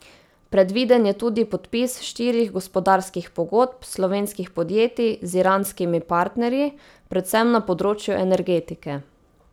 Predviden je tudi podpis štirih gospodarskih pogodb slovenskih podjetij z iranskimi partnerji, predvsem na področju energetike.